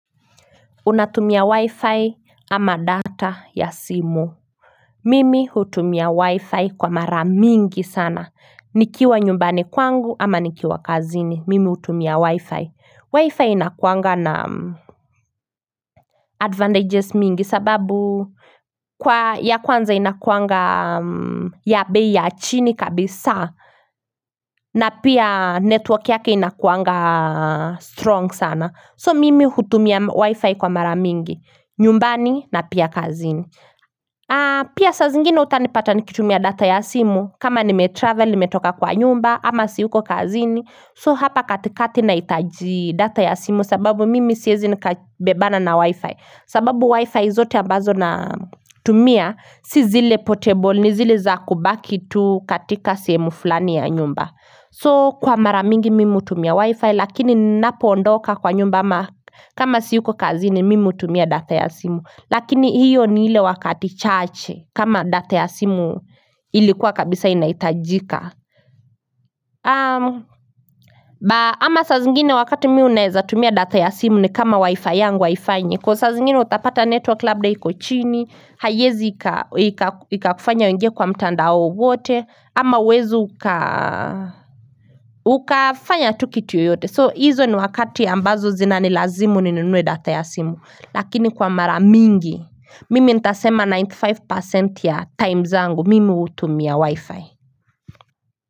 Unatumia wi-fi ama data ya simu? Mimi hutumia wi-fi kwa mara mingi sana nikiwa nyumbani kwangu ama nikiwa kazini mimi hutumia wi-fi, wi-fi inakuanga na advantages mingi sababu kwa ya kwanza inakuanga ya bei ya chini kabisa na pia network yake inakuanga strong sana so mimi hutumia wi-fi kwa mara mingi nyumbani na pia kazini pia sa zingine utanipata nikitumia data ya simu kama nimetravel, nimetoka kwa nyumba ama siuko kazini so hapa katikati nahitaji data ya simu sababu mimi siezi nikabebana na wi-fi sababu wi-fi zote ambazo na tumia si zile portable ni zile za kubaki tu katika sehemu fulani ya nyumba so kwa mara mingi mimi hutumia wi-fi lakini ninapo ondoka kwa nyumba ama kama siuko kazini mimi hutumia data ya simu lakini hiyo ni ile wakati chache kama data ya simu ilikuwa kabisa inahitajika ama sa zingine wakati mimi naeza tumia data ya simu ni kama wi-fi yangu haifanyi kwa saa zingine utapata network labda hiko chini haiezi ika ikakufanya uingie kwa mtandao wowote ama huwezi uka ukafanya tu kitu yoyote, so hizo ni wakati ambazo zina ni lazimu ni nunue data ya simu Lakini kwa mara mingi mimi ntasema ninety five percent ya time zangu mimi hutumia wi-fi.